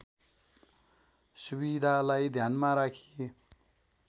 सुविधालाई ध्यानमा राखी